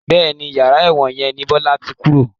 Bẹ́ẹ̀ni, yàrá ẹ̀wọ̀n yẹn ni Bọlá tí kúrò